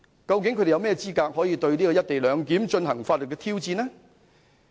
究竟他們有何資格對"一地兩檢"進行法律挑戰呢？